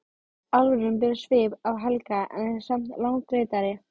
Álfurinn ber svip af Helga en er samt langleitari.